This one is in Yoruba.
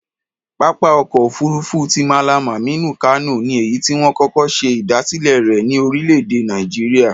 Pápá ọkọ̀ òfuurufú ti Mallam Aminu Kano ni èyí tí wọ́n kọ́kọ́ ṣe ìdásílẹ̀ rẹ̀ ní orílẹ̀-èdè Nàìjíríà.